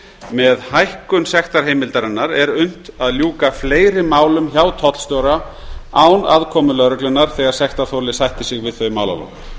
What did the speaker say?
með hækkun sektarheimildarinnar er unnt að ljúka fleiri málum hjá tollstjóra án aðkomu lögreglunnar þegar sektarþoli sættir sig við þau málalok